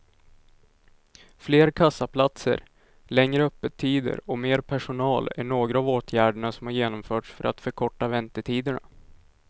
Fler kassaplatser, längre öppettider och mer personal är några av åtgärderna som har genomförts för att förkorta väntetiderna.